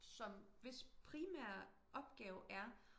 som hvis pimære opgave er